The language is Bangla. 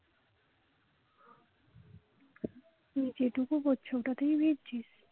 যেটুকু পড়ছে ওটাতেই ভিজছিস